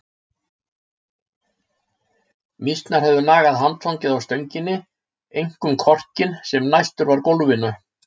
Mýsnar höfðu nagað handfangið á stönginni, einkum korkinn sem næstur var gólfinu.